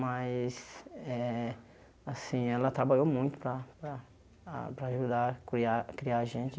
Mas eh assim ela trabalhou muito para para para ajudar a cuiar criar a gente.